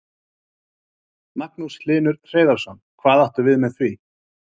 Magnús Hlynur Hreiðarsson: Hvað áttu við með því?